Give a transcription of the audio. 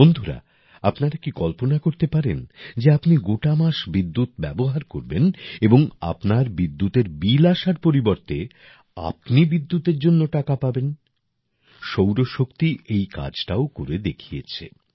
বন্ধুরা আপনারা কি কল্পনা পারেন যে আপনি গোটা মাস বিদ্যুৎ ব্যবহার করবেন এবং আপনার বিদ্যুতের বিল আসার পরিবর্তে আপনি বিদ্যুতের জন্য টাকা পাবেন সৌরশক্তি এই কাজটাও করে দেখিয়েছে